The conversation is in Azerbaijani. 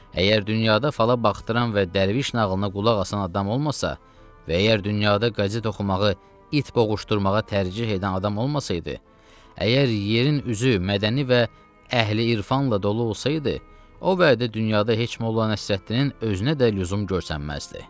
Əgər dünyada fala baxdıran və dərviş nağılına qulaq asan adam olmasa və əgər dünyada qəzet oxumağı, it boğuşdurmağa tərcieh edən adam olmasaydı, əgər yerin üzü mədəni və əhli-irfanla dolu olsaydı, o vədə dünyada heç Molla Nəsrəddinin özünə də lüzum görsənməzdi.